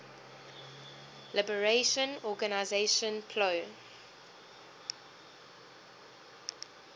liberation organization plo